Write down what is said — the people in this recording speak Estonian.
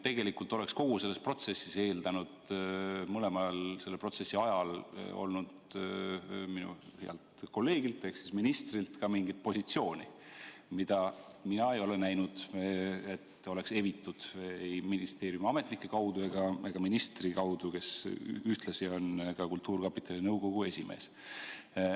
Tegelikult oleks kogu selles protsessis eeldanud minu healt kolleegilt ehk ministrilt ka mingit positsiooni, mida mina ei ole näinud, et oleks evitud, ei ministeeriumi ametnike kaudu ega ministri kaudu, kes ühtlasi on kultuurkapitali nõukogu esimees.